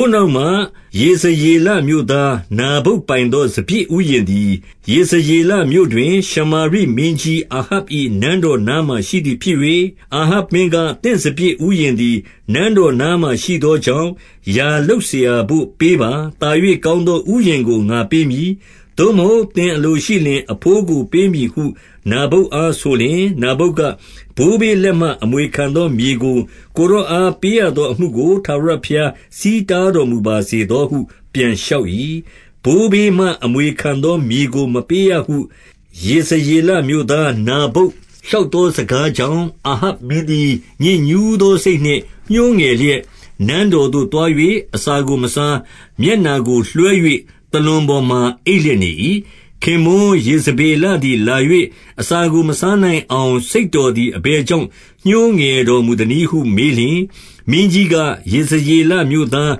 ိုနောက်မှ ယေဇရေလမြို့သား နာဗုတ်ပိုင်သော စပျစ်ဥယျာဉ်သည် ယေဇရေလမြို့တွင်၊ ရှမာရိ မင်းကြီးအာဟပ်၏နန်းတော်နားမှာ ရှိသည်ဖြစ်၍၊ 2 အာဟပ်မင်းက၊ သင့်စပျစ်ဥယျာဉ်သည် နန်းတော်နားမှာရှိသောကြောင့် ယာလုပ်စရာဘို့ပေးပါ။ သာ၍ကောင်းသော ဥယျာဉ်ကို ငါပေးမည်။ သို့မဟုတ် သင်အလိုရှိလျှင် အဘိုးကိုပေးမည်ဟု နာဗုတ်အား ဆိုလျှင်၊ 3 နာဗုတ်က၊ ဘိုးဘေးလက်မှ အမွေခံသောမြေကို ကိုယ်တော်အား ပေးရသောအမှုကို ထာဝရဘုရား ဆီးတားတော်မူပါစေသောဟု ပြန်လျှောက်၏။ 4 ဘိုးဘေးမှ အမွေခံသော မြေကို မပေးရဟု ယေဇရေလမြို့သား နာဗုတ်လျှောက်သော စကား ကြောင့် အာဟပ်မင်းသည် ညစ်ညူးသော စိတ်နှင့် ညှိုးငယ်လျက်၊ နန်းတော်သို့သွား၍ အစာကိုမစား၊ မျက်နှာကို လွှဲ၍သာလွန်ပေါ်မှာ အိပ်လျက်နေ၏။ 5 ခင်ပွန်းယေဇဗေလသည်လာ၍၊ အစာကို မစားနိုင်အောင် စိတ်တော်သည် အဘယ်ကြောင့် ညှိုးငယ် တော်မူသနည်းဟုမေးလျှင်၊ 6 မင်းကြီးက၊ ယေဇရေလမြို့သား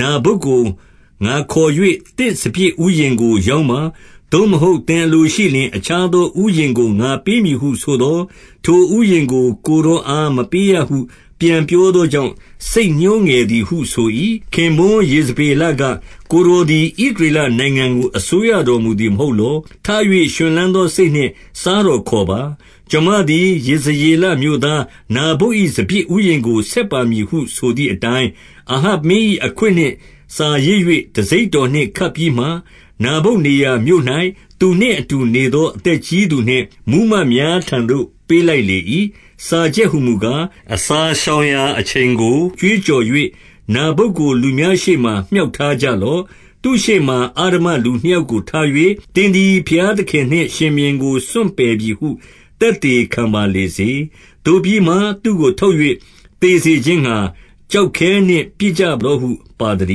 နာဗုတ်ကို ငါခေါ်၍ သင့်စပျစ်ဥယျာဉ်ကို ရောင်းပါ။ သို့မဟုတ် သင်အလို ရှိလျှင် အခြားသောဥယျာဉ်ကို ငါပေးမည်ဟုဆိုသော်၊ ထိုဥယျာဉ်ကို ကိုယ်တော်အားမပေးရဟု ပြန်ပြော သောကြောင့် စိတ်ညှိုးငယ်သည်ဟုဆို၏။ 7 ခင်ပွန်းယေဇဗေလက၊ ကိုယ်တော်သည် ဣသ ရေလနိုင်ငံကို အစိုးရတော်မူသည် မဟုတ်လော။ ထ၍ ရွှင်လန်းသော စိတ်နှင့် စားတော်ခေါ်ပါ။ ကျွန်မသည် ယေဇရေလမြို့သားနာဗုတ်၏ စပျစ်ဥယျာဉ်ကို ဆက်ပါ မည်ဟုဆိုသည်အတိုင်း၊ 8 အာဟပ်မင်း၏ အခွင့်နှင့်စာရေး၍ တံဆိပ် တော်နှင့် ခတ်ပြီးမှ၊ နာဗုတ်နေရာမြို့၌ သူနှင့်အတူ နေသော အသက်ကြီးသူနှင့်မှူးမတ်များထံသို့ ပေးလိုက် လေ၏။ 9 စာချက်ဟူမူကား၊ အစာရှောင်ရာအချိန်ကို ကြွေးကြော်၍၊ နာဗုတ်ကို လူများရှေ့မှာ မြှောက်ထား ကြလော့။ 10 သူ့ရှေ့မှာ အဓမ္မလူနှစ်ယောက်ကိုထား၍၊ သင်သည် ဘုရားသခင်နှင့် ရှင်ဘုရင်ကိုစွန့်ပယ်ပြီဟု သက်သေခံပါလေစေ။ သို့ပြီးမှ သူ့ကို ထုတ်၍ သေစေခြင်း ငှါ ကျောက်ခဲနှင့်ပစ်ကြလော့ဟု ပါသတ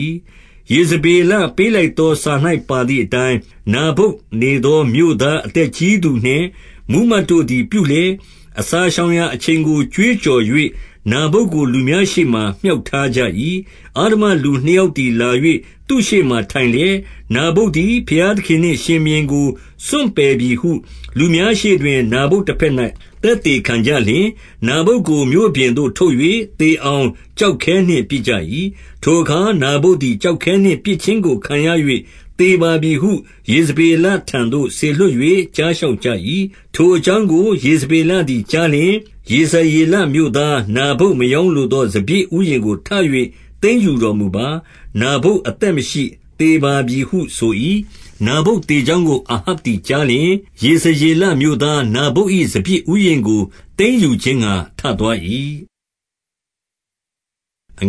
ည်း။ 11 ယေဇဗေလပေးလိုက်သော စာ၌ ပါသည် အတိုင်း၊ နာဗုတ်နေသောမြို့သား အသက်ကြီးသူနှင့် မှူးမတ်တို့သည် ပြုလျက်၊ 12 အစာရှောင်ရာအချိန်ကို ကြွေးကြော်၍ နာဗုတ် ကို လူများရှေ့မှာ မြှောက်ထားကြ၏။ 13 အဓမ္မလူနှစ်ယောက်သည် လာ၍သူ့ရှေ့မှာ ထိုင်လျက်၊ နာဗုတ်သည် ဘုရားသခင်နှင့်ရှင်ဘုရင်ကို စွန့်ပယ်ပြီဟု လူများရှေ့တွင် နာဗုတ်တဘက်၌ သက်သေ ခံကြလျှင်၊ နာဗုတ်ကို မြို့ပြင်သို့ ထုတ်၍ သေအောင် ကျောက်ခဲနှင့်ပစ်ကြ၏။ 14 ထိုအခါ နာဗုတ်သည် ကျောက်ခဲနှင့် ပစ်ခြင်း ကိုခံရ၍ သေပါပြီဟု ယေဇဗေလထံသို့ စေလွှတ်၍ ကြားလျှောက်ကြ၏။ 15 ထိုအကြောင်းကို ယေဇဗေလသည် ကြားလျှင်၊ ယေဇရေလမြို့ သားနာဗုတ် မရောင်းလိုသော စပျစ် ဥယျာဉ်ကို ထ၍ သိမ်းယူတော်မူပါ။ နာဗုတ်အသက်မရှိ၊ သေပါပြီဟု ဆို၏။ 16 နာဗုတ်သေကြောင်းကို အာဟပ်သည် ကြားလျှင်၊ ယေဇရေလမြို့ သားနာဗုတ်၏ စပျစ်ဥယျာဉ်ကို သိမ်းယူခြင်းငှါ ထသွား၏။ 17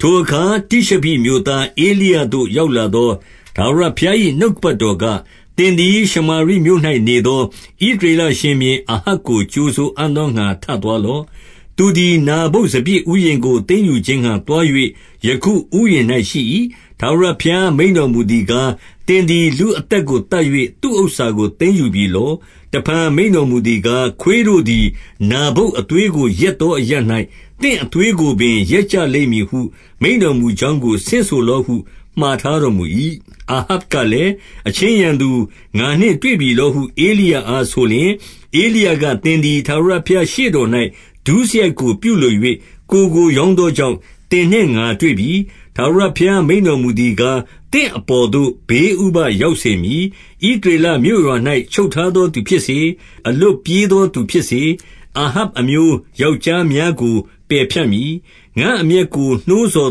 ထိုအခါတိရှဘိမြို့သား ဧလိယသို့ ရောက်လာသော ထာဝရဘုရား၏နှုတ်ကပတ်တော်က၊ 18 သင်သည်ရှမာရိမြို့၌နေသော ဣသရေလ ရှင်ဘုရင်အာဟပ်ကို ကြိုဆိုအံ့သောငှါ ထသွားလော့။ သူသည်နာဗုတ်၏ စပျစ်ဥယျာဉ်ကို သိမ်းယူခြင်းငှါ သွား၍ ယခုဥယျာဉ်၌ရှိ၏။ 19 ထာဝရဘုရားမိန့်တော်မူသည်ကား၊ သင်သည် လူအသက်ကို သတ်၍သူ့ဥစ္စာကို သိမ်းယူပြီလော။ တဖန် မိန့်တော်မူသည်ကား၊ ခွေးတို့သည် နာဗုတ်အသွေးကို လျက်သောအရပ်၌ သင့်အသွေးကိုပင် လျက်ကြလိမ့် မည်ဟု မိန့်တော်မူကြောင်းကို ဆင့်ဆိုလော့ဟု မှာထား တော်မူ၏။ 20 အာဟပ်ကလည်း၊ အချင်းရန်သူ၊ ငါနှင့်တွေ့ပြီ လောဟု ဧလိယအားဆိုလျှင်၊ ဧလိယကသင်သည် ထာဝရဘုရားရှေ့တော်၌ ဒုစရိုက်ကို ပြုလို၍ ကိုယ်ကို ရောင်းသောကြောင့် သင်နှင့်ငါတွေ့ပြီ။ 21 ထာဝရဘုရားမိန့်တော်မူသည်ကား၊ သင့်အပေါ် သို့ ဘေးဥပဒ်ရောက်စေမည်။ ဣသရေလမြို့ရွာ၌ ချုပ်ထားသောသူဖြစ်စေ၊ အလွတ်ပြေးသောသူဖြစ်စေ၊ အာဟပ်အမျိုး ယောက်ျားများကိုပယ်ဖြတ်မည်။ 22 ငါ့အမျက်ကို နှိုးဆော်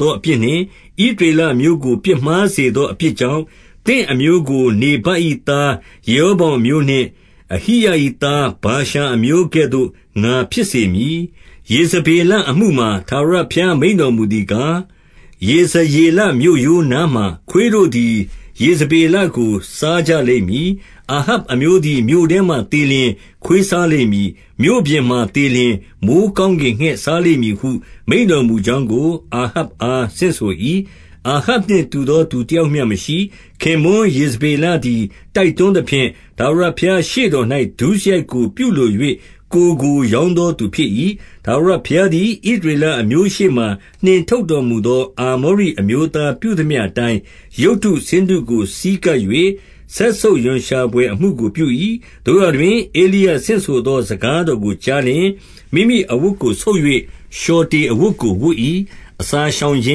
သောအပြစ်နှင့် ဣသ ရေလအမျိုးကို ပြစ်မှားစေသောအပြစ်ကြောင့်၊ သင့်အမျိုး ကို နေဗတ်၏သား ယေရောဗောင်အမျိုးနှင့် အဟိယ၏ သားဗာရှာအမျိုးကဲ့သို့ ငါဖြစ်စေမည်။ 23 ယေဇဗေလအမှုမှာ ထာဝရဘုရားမိန့်တော်မူ သည်ကား၊ ယေဇရေလမြို့ရိုးနားမှာ ခွေးတို့သည် ယေဇ ဗေလကို စားကြလိမ့်မည်။ 24 အာဟပ်အမျိုးသည် မြို့ထဲမှာ သေလျှင်ခွေးစား လိမ့်မည်။ မြို့ပြင်မှာသေလျှင် မိုဃ်းကောင်းကင်ငှက် စားလိမ့်မည်ဟု မိန့်တော်မူကြောင်းကို အာဟပ်အား ဆင့်ဆို၏။ 25 အာဟပ်နှင့်တူသော သူတယောက်မျှမရှိ။ ခင်ပွန်းယေဇဗေလသည် တိုက်တွန်းသဖြင့်၊ ထာဝရ ဘုရားရှေ့တော်၌ ဒုစရိုက်ကို ပြုလို၍ ကိုယ်ကို ရောင်း သောသူဖြစ်၏။ 26 ထာဝရဘုရားသည် ဣသရေလအမျိုးရှေ့မှ နှင်ထုတ်တော်မူသောအာမောရိ အမျိုးသားပြုသမျှ အတိုင်း၊ ရုပ်တုဆင်းတုကို ဆည်းကပ်၍ စက်ဆုပ်ရွံရှာ ဘွယ် အမှုကိုပြု၏။ 27 သို့ရာတွင် ဧလိယဆင့်ဆိုသော စကားတော်ကို ကြားလျှင်၊ မိမိအဝတ်ကို ဆုတ်၍လျှော်တေအဝတ်ကို ဝတ်၏။ အစာရှောင်ခြ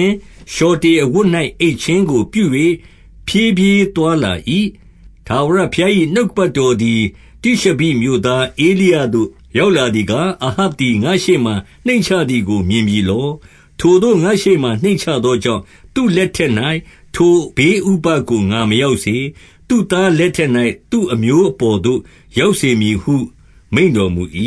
င်း၊ လျှော်တေအဝတ်၌ အိပ်ခြင်း ကို ပြု၍ ဖြည်းဖြည်းသွားလာ၏။ 28 ထာဝရဘုရား၏ နှုတ်ကပတ်တော်သည် တိရှဘိမြို့သား ဧလိယသို့ ရောက်လာသည်ကား၊ 29 အာဟပ်သည် ငါ့ရှေ့မှာနှိမ့်ချသည်ကို မြင်ပြီ လော။ ထိုသို့ငါ့ရှေ့ မှာနှိမ့်ချသောကြောင့်၊ သူ့လက်ထက်၌ ထိုဘေးဥပဒ်ကို ငါမရောက်စေ။ သူ့သားလက်ထက်၌ အမျိုးအပေါ်သို့ရောက်စေမည်ဟု မိန့်တော်မူ၏။